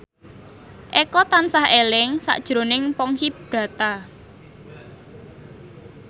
Eko tansah eling sakjroning Ponky Brata